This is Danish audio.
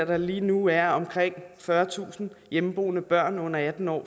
der lige nu er omkring fyrretusind hjemmeboende børn under atten år